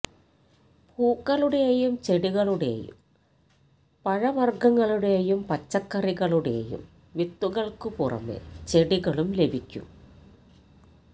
പൂക്കളുടെയും ചെടികളുടെയും പഴവര്ഗ്ഗങ്ങളുടെയും പച്ചക്കറികളുടെയും വിത്തുകള്ക്കു പുറമേ ചെടികളും ലഭിക്കും